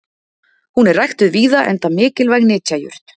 Hún er ræktuð víða enda mikilvæg nytjajurt.